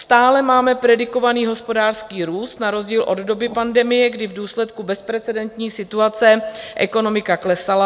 Stále máme predikovaný hospodářský růst na rozdíl od doby pandemie, kdy v důsledku bezprecedentní situace ekonomika klesala.